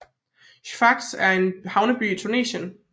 Sfax er en havneby i Tunesien